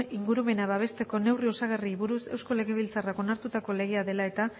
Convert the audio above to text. ingurumena babesteko neurri osagarriei buruz eusko legebiltzarrak onartutako legea dela eta